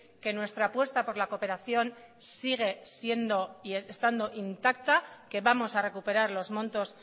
que nuestra apuesta por la cooperación sigue siendo y estando intacta que vamos a recuperar los montos